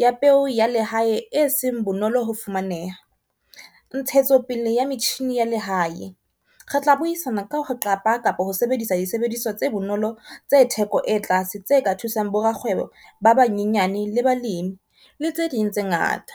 ya peo ya lehae e seng bonolo ho fumaneha. Ntshetsopele ya metjhini ya lehae, re tla buisana ka ho qapa kapa ho sebedisa disebediswa tse bonolo tse theko e tlase tse ka thusang bo rakgwebo ba banyenyane le balemi le tse ding tse ngata.